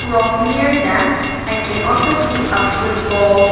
Rock near them i can also see a football.